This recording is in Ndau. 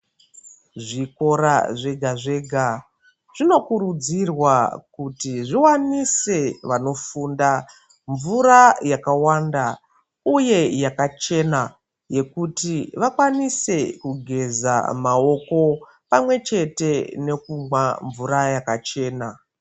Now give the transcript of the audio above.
Zvikora zvega-zvega zvinokurudzirwa kuti zviwanise vanofunda mvura yakawanda uye yakachena yekuti vakwanise kugeza mawoko pamwe chete nekumwa mvura yakachena.